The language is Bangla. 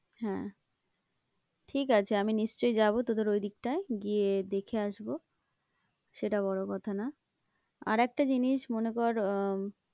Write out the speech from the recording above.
হ্যাঁ ঠিক আছে আমি নিশ্চয়ই যাবো তোদের দিকটায় গিয়ে দেখে আসবো সেটা বড়ো কথা না আর একটা জিনিস মনে কর আহ